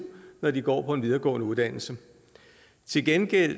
når de går på en videregående uddannelse til gengæld